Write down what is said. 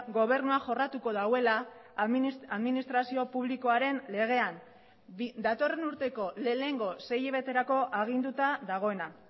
gobernua jorratuko duela administrazio publikoaren legean datorren urteko lehenengo sei hilabeterako aginduta dagoena